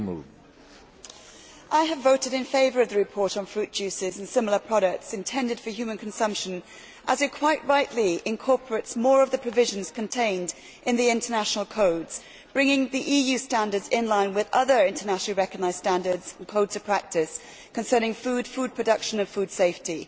Mr President, I have voted in favour of the report on fruit juices and similar products intended for human consumption, as it quite rightly incorporates more of the provisions contained in the international codes, bringing the EU standards in line with other internationally recognised standards and codes of practice concerning food, food production and food safety.